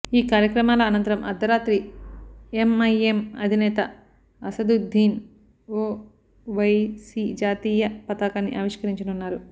ఈ కార్యక్రమాల అనంతరం అర్ధరాత్రి ఎంఐఎం అధినేత అసదుద్దీన్ ఒవైసీ జాతీయ పతాకాన్ని ఆవిష్కరించనున్నారు